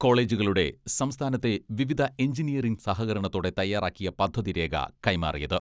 കോളജുകളുടെ സംസ്ഥാനത്തെ വിവിധ എഞ്ചിനീയറിങ് സഹകരണത്തോടെ തയാറാക്കിയ പദ്ധതി രേഖ കൈമാറിയത്.